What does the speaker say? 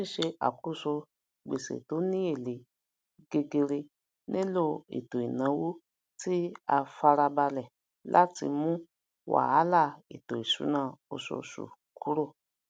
ṣíṣe àkóso gbèsè tó ni èlé gegere nilo eto ìnáwó ti a farabalẹ lati mu wàhálà ètò ìṣúná osoòsù kúrò